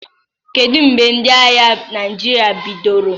Kedu mgbe ndị agha Naịjirịa bidoro?